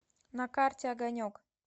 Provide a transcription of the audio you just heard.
на карте огонек